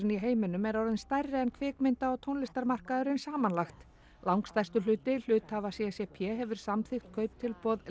í heiminum er orðinn stærri en kvikmynda og tónlistarmarkaðurinn samanlagt langstærstur hluti hluthafa c c p hefur samþykkt kauptilboð